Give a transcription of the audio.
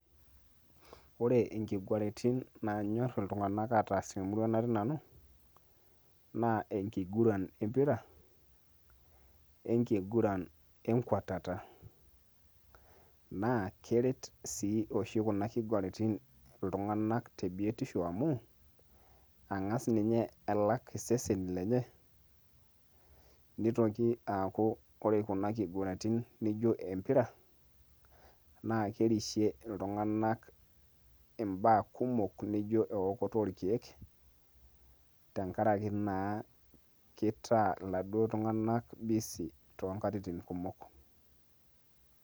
Ore inkiguraitin nanyor iltung'anak ataas temurua natii nanu, naa enkiguran empira, enkiguran enkwatata. Naa keret si oshi kuna kiguratin iltung'anak tebiotisho amu, eng'as ninye alak iseseni lenye, nitoki aaku ore kuna kiguratin naijo empira, na kerishe iltung'anak imbaa kumok nijo eokoto orkeek, tenkaraki naa kitaa laduo tung'anak bisi tonkatitin kumok.